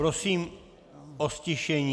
Prosím o ztišení.